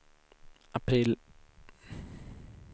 april